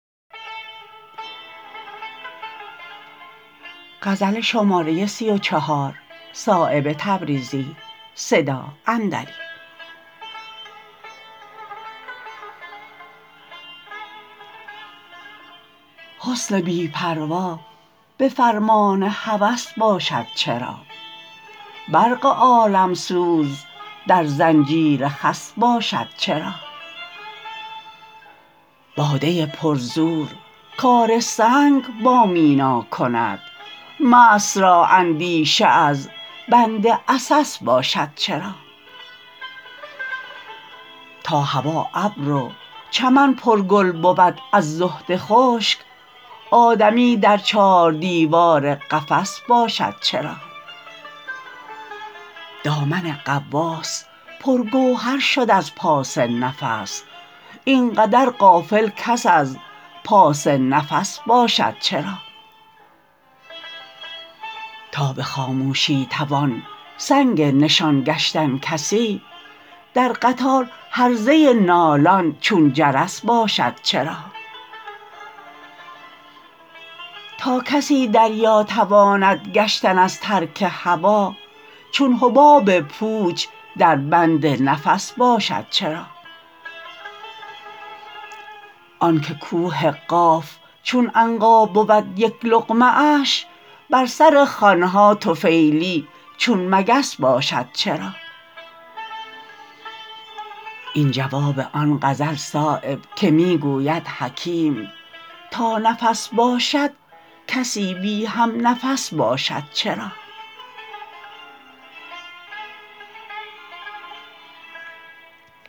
حسن بی پروا به فرمان هوس باشد چرا برق عالمسوز در زنجیر خس باشد چرا باده پر زور کار سنگ با مینا کند مست را اندیشه از بند عسس باشد چرا تا هوا ابر و چمن پر گل بود از زهد خشک آدمی در چار دیوار قفس باشد چرا دامن غواص پر گوهر شد از پاس نفس اینقدر غافل کس از پاس نفس باشد چرا تا به خاموشی توان سنگ نشان گشتن کسی در قطار هرزه نالان چون جرس باشد چرا تا کسی دریا تواند گشتن از ترک هوا چون حباب پوچ در بند نفس باشد چرا آن که کوه قاف چون عنقا بود یک لقمه اش بر سر خوان ها طفیلی چون مگس باشد چرا این جواب آن غزل صایب که می گوید حکیم تا نفس باشد کسی بی همنفس باشد چرا